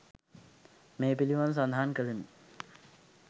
මේ පිළිබඳව සඳහන් කළෙමු.